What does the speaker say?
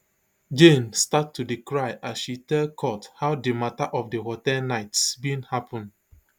jane start to dey cry as she tell court how di mata of di hotel nights bin happun